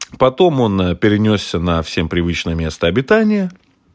потом он перенёсся на всем привычное место обитания